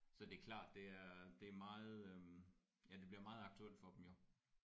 Så det er klart det er det er meget øh ja det bliver meget aktuelt for dem jo